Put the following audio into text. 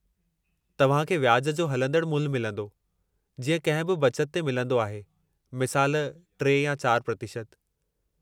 तव्हां खे व्याज जो हलंदड़ु मुल्हु मिलंदो, जीअं कंहिं बि बचत ते मिलंदो आहे, मिसालु 3 या 4%